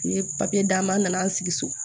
U ye papiye d'an ma an nana an sigi so